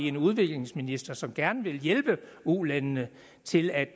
en udviklingsminister som gerne vil hjælpe ulandene til at